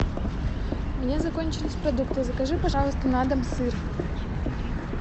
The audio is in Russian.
у меня закончились продукты закажи пожалуйста на дом сыр